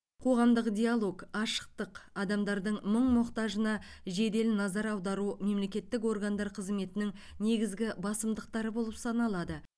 қоғамдық диалог ашықтық адамдардың мұң мұқтажына жедел назар аудару мемлекеттік органдар қызметінің негізгі басымдықтары болып саналады